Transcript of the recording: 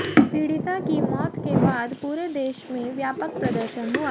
पीड़िता की मौत के बाद पूरे देश में व्यापक प्रदर्शन हुआ